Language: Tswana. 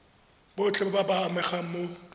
botlhe ba ba amegang mo